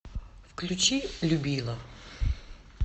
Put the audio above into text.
включи любила